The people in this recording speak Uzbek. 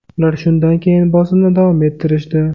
Ular shundan keyin bosimni davom ettirishdi.